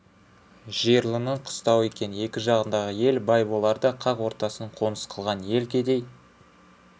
жиырлының қыстауы екен екі жағындағы ел бай болар да қақ ортасын қоныс қылған ел кедей